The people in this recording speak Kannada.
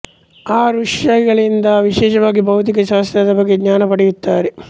ಆ ಋಷಿಗಳಿಂದ ವಿಶೇಷವಾಗಿ ಭೌತಿಕ ಶಾಸ್ತ್ರದ ಬಗ್ಗೆ ಜ್ಞಾನ ಪಡೆಯುತ್ತಾರೆ